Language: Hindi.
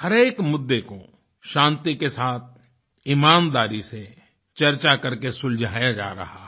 हर एक मुद्दे को शांति के साथ ईमानदारी से चर्चा करके सुलझाया जा रहा है